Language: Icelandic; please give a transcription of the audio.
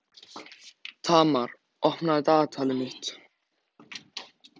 Tamar, opnaðu dagatalið mitt.